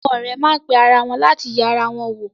Àwọn ọ̀rẹ́ má pe ara wọn láti yẹ ara wọn wò.